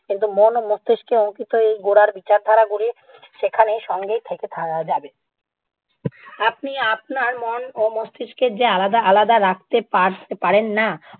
কিন্তু মন ও মস্তিষ্কে অঙ্কিত এই গোড়ার বিচারধারা গুলি সেখানেই সঙ্গেই থেকে থা~ যাবে। আপনি আপনার মন ও মস্তিষ্কে যে আলাদা আলাদা রাখতে পার~ পারেন না।